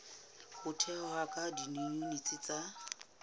ho thehwa ha diyuniti tsa